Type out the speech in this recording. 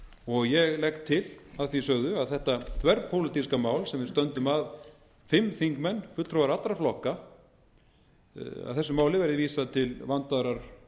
og ég legg til að því sögðu að þetta þverpólitíska mál sem við stöndum að fimm þingmenn fulltrúar allra flokka að þessu máli verði vísað til vandaðrar